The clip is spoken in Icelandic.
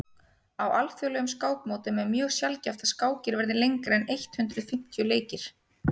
á alþjóðlegum skákmótum er mjög sjaldgæft að skákir verði lengri en eitt hundruð fimmtíu leikir